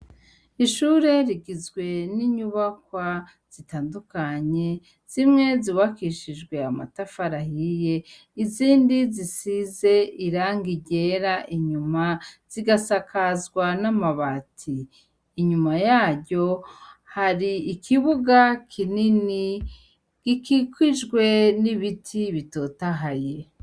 Ishure rigizwe n'inyubakwa zitandukanye zimwe zubakishijwe amatafari ahiye, izindi zisize irangi ryera inyuma zigasakazwa n'amabati, inyuma yaryo hari ikibuga kinini gikikijwe n'ibiti bitotahaye.